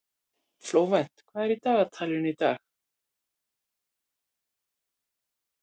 Flóvent, hvað er í dagatalinu í dag?